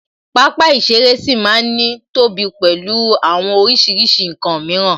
Pápá ìṣeré ṣì ma ń ní tóbi pẹ̀lú àwọn oríṣiríṣi ǹkan mìíràn